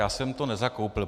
Já jsem to nezakoupil.